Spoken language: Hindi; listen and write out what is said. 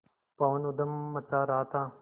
पवन ऊधम मचा रहा था